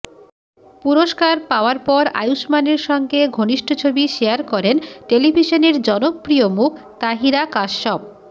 পুরস্কার পাওয়ার পর আয়ুষ্মানের সঙ্গে ঘনিষ্ঠ ছবি শেয়ার করেন টেলিভিশনের জনপ্রিয় মুখ তাহিরা কাশ্যপ